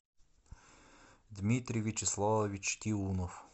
дмитрий вячеславович тиунов